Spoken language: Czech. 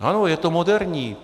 Ano, je to moderní.